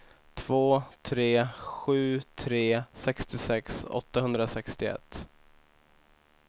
två tre sju tre sextiosex åttahundrasextioett